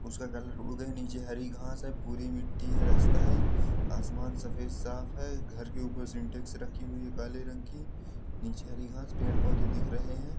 उसका कलर उड़ गयइ है नीचे हरी घांस है भूरी मिट्टी है रास्ता है आसमान सफ़ेद साफ है। घर के ऊपर सिंटेक्स रखी हुई है काले रंग की नीचे हरी घांस पेड़-पौधे दिख रहे हैं।